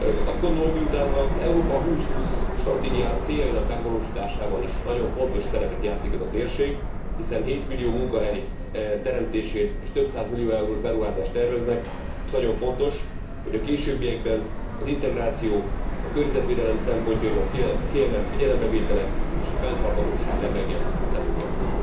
Azt gondolom, hogy miután az Európa 2020 stratégia céljainak megvalósításában is nagyon fontos szerepet játszik ez a térség hiszen hétmillió munkahely teremtését és több száz millió eurós beruházást terveznek nagyon fontos, hogy a későbbiekben az integráció, a környezetvédelem szempontjainak kiemelt figyelembevétele és a fenntarthatóság lebegjen a szemünk előtt.